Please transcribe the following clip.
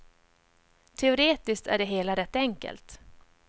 Teoretiskt är det hela rätt enkelt.